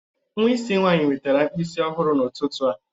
Nwa isi nwanyị wetara mkpịsị ọhụrụ n'ụtụtụ a